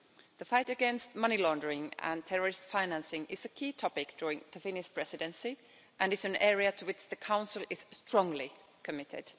The fight against money laundering and terrorist financing is a key topic during the Finnish Presidency and is an area to which the Council is strongly committed.